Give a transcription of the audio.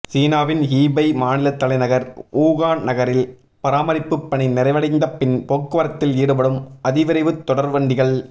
சீனாவின் ஹுபெய் மாநிலத் தலைநகர் வூகான் நகரில் பராமரிப்புப் பணி நிறைவடைந்த பின் போக்குவரத்தில் ஈடுபடும் அதிவிரைவு தொடர்வண்டிகள்